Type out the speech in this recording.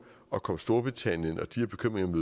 at komme storbritannien og de her bekymringer